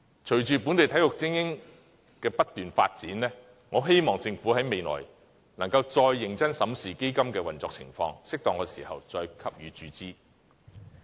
隨着本地精英體育的不斷發展，我希望政府未來能夠再認真審視基金的運作情況，在適當的時候再給予注資。